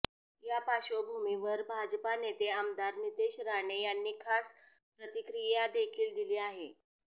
या पार्श्वभूमीवर भाजपा नेते आमदार नितेश राणे यांनी खास प्रतिक्रिया देखील दिली आहे